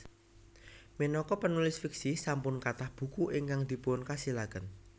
Minangka penulis fiksi sampun kathah buku ingkang dipun kasilaken